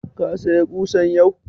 Ka saya ƙusan yau?